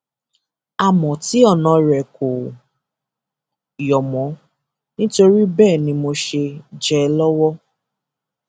àmọ tí ọnà rẹ kò yọ mọ nítorí bẹẹ ni mo ṣe jẹ ẹ lọwọ